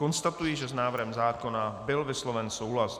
Konstatuji, že s návrhem zákona byl vysloven souhlas.